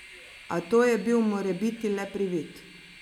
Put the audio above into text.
A to je bil morebiti le privid.